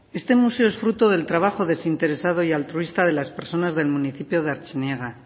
este museo es fruto del trabajo desinteresado y altruista de las personas del municipio de artziniega